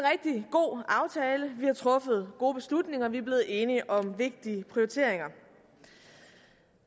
god aftale vi har truffet gode beslutninger vi er blevet enige om vigtige prioriteringer